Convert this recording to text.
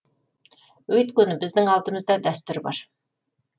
өйткені біздің алдымызда дәстүр бар